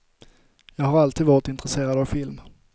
Jag har alltid varit intresserad av film.